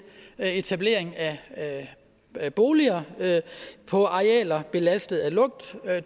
etablering af boliger på arealer belastet af lugt det